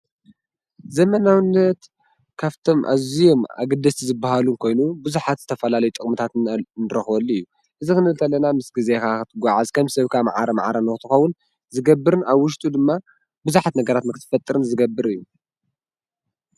ዘመናውነት ካፍቶም እዙዮም ኣግድስቲ ዝበሃሉ እንኮይኑ ብዙኃት ዝተፈላለይ ጠቕሙታትን ንረኽወሊ እዩ እዝ ኽን እልተለና ምስ ጊዜ ኻኽት ጓዓዝ ከም ሰብካ መዓረ መዓረ ንዉትኾውን ዝገብርን ኣብ ውሽጡ ድማ ብዙኃት ነገራት መኽትትፈጥርን ዝገብር እዩ።